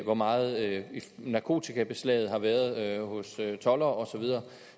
hvor meget narkotikabeslaget har været hos toldere og så videre